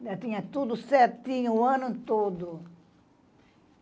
Eu tinha tudo certinho o ano todo.